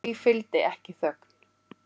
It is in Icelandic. Því fylgdi ekki þögn.